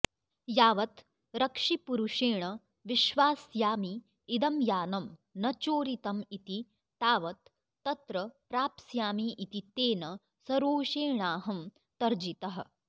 यावत् रक्षिपुरुषेण विश्वास्यामि इदं यानं न चोरितं इति तावत् तत्र प्राप्स्यामि इति तेन सरोषेणाहं तर्जितः